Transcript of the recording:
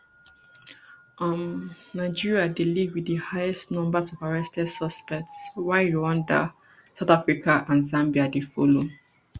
um nigeria dey lead wit di highest numbers of arrested suspects while rwanda south africa and zambia dey follow